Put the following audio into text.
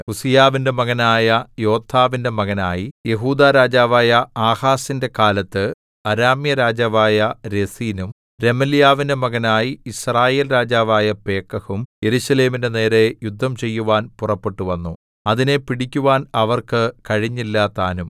ഉസ്സീയാവിന്റെ മകനായ യോഥാമിന്റെ മകനായി യെഹൂദാ രാജാവായ ആഹാസിന്റെ കാലത്ത് അരാമ്യരാജാവായ രെസീനും രെമല്യാവിന്റെ മകനായി യിസ്രായേൽ രാജാവായ പേക്കഹും യെരൂശലേമിന്റെ നേരെ യുദ്ധം ചെയ്യുവാൻ പുറപ്പെട്ടുവന്നു അതിനെ പിടിക്കുവാൻ അവർക്ക് കഴിഞ്ഞില്ലതാനും